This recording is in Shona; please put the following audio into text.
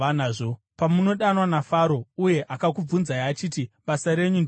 Pamunodanwa naFaro uye akakubvunzai achiti, ‘Basa renyu ndereiko?’